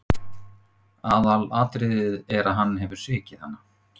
Aðalatriðið er að hann hefur svikið hana.